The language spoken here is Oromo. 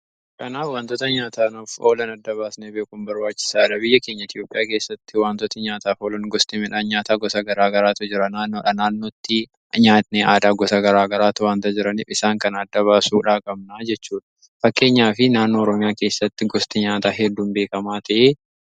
Kanaaf wantoota nyaataanuuf oolan adda baasnee beekun barbaachisaadha. Biyya keenya Itoophiyaa keessatti wantoota nyaataaf oolan gosti midhaan nyaataa gosa garaa garaatu jira naannodha naannootti nyaanni aadaa gosa garaa garaatu wanta jiraniif isaan kan adda baasuudhaa qabnaa jechuudha. Fakkeenyaa fi naannoo Oroomiyaa keessatti gosti nyaataa hedduun beekamaa ta'e hedduudha.